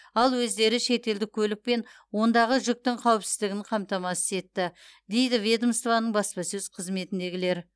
ал өздері шетелдік көлік пен ондағы жүктің қауіпсіздігін қамтамасыз етті дейді ведомствоның баспасөз қызметіндегілер